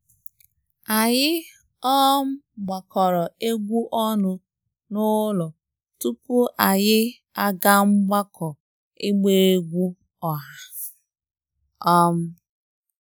Anyị um gbakọrọ egwu ọnụ n'ụlọ tupu anyị aga mgbakọ ịgba egwú ọha um